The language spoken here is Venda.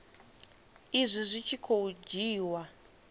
izwi zwi tshi khou dzhiiwa